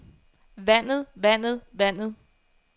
vandet vandet vandet